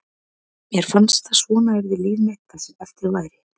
Mér fannst að svona yrði líf mitt það sem eftir væri.